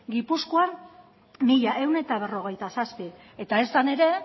gipuzkoan mila ehun eta berrogeita zazpi eta esan ere